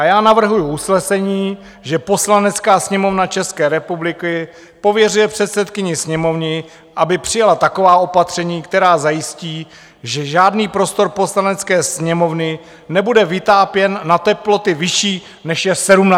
A já navrhuji usnesení, že Poslanecká sněmovna České republiky pověřuje předsedkyni Sněmovny, aby přijala taková opatření, která zajistí, že žádný prostor Poslanecké sněmovny nebude vytápěn na teploty vyšší než je 17 stupňů.